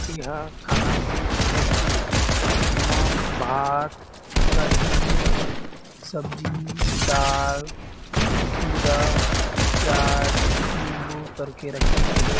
ए हा खाना के प्लेट ए जेमा भात कढ़ी सब्जी दाल खीरा प्याज लिंबू करके रखें गे हे।